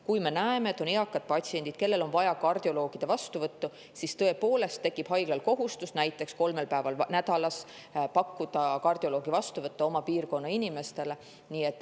Kui me näeme, et on eakaid patsiente, kellel on vaja kardioloogi vastuvõttu, siis tekib haiglal kohustus näiteks kolmel päeval nädalas pakkuda kardioloogi vastuvõtu oma piirkonna inimestele.